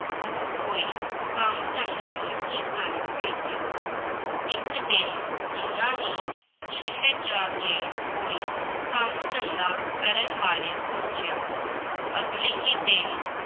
ਉਹ ਕੋਈ ਕੰਮ ਧੰਦਾ ਨਹੀਂ ਸਨ ਕਰਦੇ, ਇੱਕ ਦਿਨ ਉਹਨਾਂ ਨੇ ਸ਼ਹਿਰ ਜਾ ਕੇ ਕੋਈ ਕੰਮ ਧੰਦਾ ਕਰਨ ਬਾਰੇ ਸੋਚਿਆ, ਅਗਲੇ ਹੀ ਦਿਨ